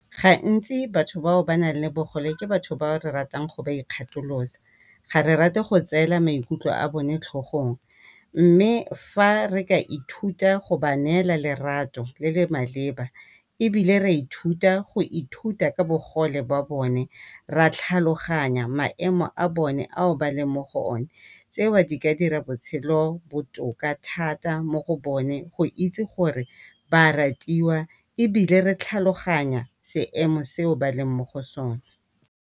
Gantsi batho bao ba nang le bogole ke batho ba re ratang go ba ikgatholosa ga re rate go tseela maikutlo a bone tlhogong, mme fa re ka ithuta go ba neela lerato le le maleba. Ebile ra ithuta go ithuta ka bogole bone ra tlhaloganya maemo a bone ao ba leng mo go o ne tseo di ka dira botshelo botoka thata mo go bone go itse gore ba a ratiwa, ebile re tlhaloganya seemo seo ba leng mo go sone.